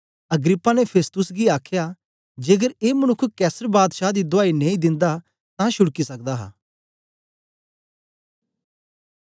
Agrippa ने Festus गी आखया जेकर ए मनुक्ख कैसर बादशाह दी दुआई नेई दिन्दा तां छुड़की सकदा हा